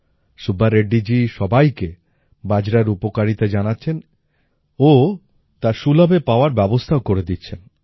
সুব্বা রেড্ডিজি সবাইকে বাজারার উপকারিতা জানাচ্ছেন ও তা সুলভে পাওয়ার ব্যবস্থাও করে দিচ্ছেন